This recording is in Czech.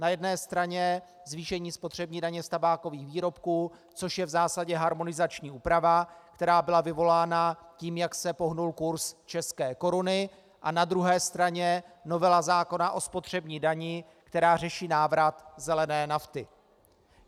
Na jedné straně zvýšení spotřební daně z tabákových výrobků, což je v zásadě harmonizační úprava, která byla vyvolána tím, jak se pohnul kurz české koruny, a na druhé straně novela zákona o spotřební dani, která řeší návrat zelené nafty.